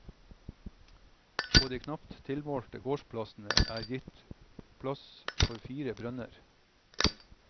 På de knapt tilmålte gårdsplassene er gitt plass for fire brønner.